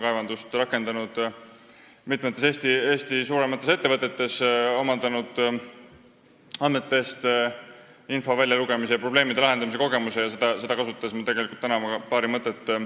Olen rakendanud andmekaevandust mitmes Eesti suuremas ettevõttes ja omandanud andmetest info väljalugemise ja probleemide lahendamise kogemuse, mida kasutades jagan teiega täna paari mõtet.